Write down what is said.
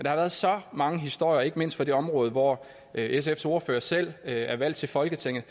har været så mange historier ikke mindst fra det område hvor sfs ordfører selv er valgt til folketinget